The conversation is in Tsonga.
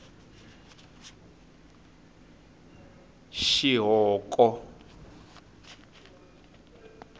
xihoko